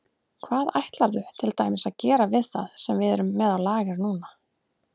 Hvað ætlarðu til dæmis að gera við það sem við erum með á lager núna?